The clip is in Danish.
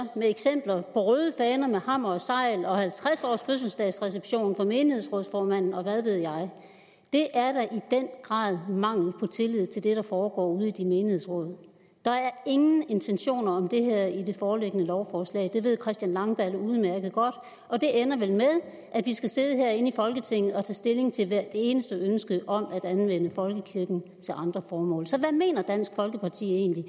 og røde faner med hammer og segl og halvtreds års fødselsdagsreception for menighedsrådsformanden og hvad ved jeg det er da i den grad mangel på tillid til det der foregår ude i de menighedsråd der er ingen intentioner om det her i det foreliggende lovforslag det ved herre christian langballe udmærket godt og det ender vel med at vi skal sidde herinde i folketinget og tage stilling til hvert eneste ønske om at anvende folkekirken til andre formål så hvad mener dansk folkeparti egentlig